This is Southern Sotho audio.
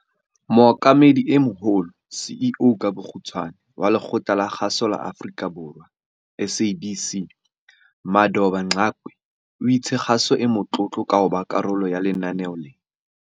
Mookamedi e Moholo CEO wa Lekgotla la Kgaso la Afrika Borwa SABC Madoda Mxakwe o itse kgaso e motlotlo ka hoba karolo ya lenaneo lena.